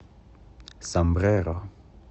сомбреро